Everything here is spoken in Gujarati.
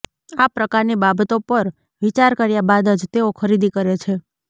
આ પ્રકારની બાબતો પર વિચાર કર્યા બાદ જ તેઓ ખરીદી કરે છે